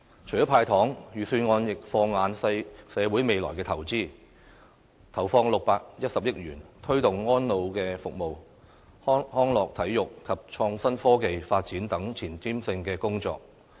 除了"派糖"，預算案亦放眼社會未來的投資，投放610億元，推動安老服務、康樂體育及創新科技發展等前瞻性工作。